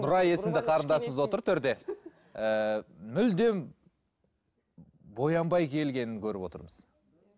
нұрай есімді қарындасымыз отыр төрде ыыы мүлдем боянбай келгенін көріп отырмыз